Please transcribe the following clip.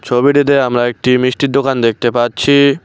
ছবিটিতে আমরা একটি মিষ্টির দোকান দেখতে পাচ্ছি।